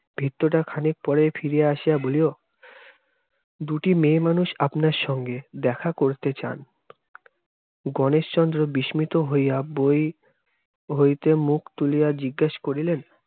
ভৃত্যটা খানিক পরেই ফিরিয়া আসিয়া বলিল, দুটি মেয়ে মানুষ আপনার সঙ্গে দেখা করতে চান। গণেশচন্দ্র বিস্মিত হইয়া বই হইতে মুখ তুলিয়া জিজ্ঞাস করিলেন